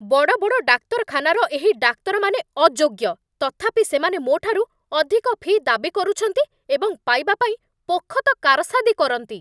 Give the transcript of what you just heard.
ବଡ଼ ବଡ଼ ଡାକ୍ତରଖାନାର ଏହି ଡାକ୍ତରମାନେ ଅଯୋଗ୍ୟ, ତଥାପି ସେମାନେ ମୋଠାରୁ ଅଧିକ ଫି ଦାବି କରୁଛନ୍ତି ଏବଂ ପାଇବା ପାଇଁ ପୋଖତ କାରସାଦି କରନ୍ତି।